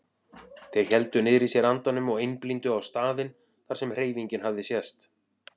Þeir héldu niðri í sér andanum og einblíndu á staðinn þar sem hreyfingin hafði sést.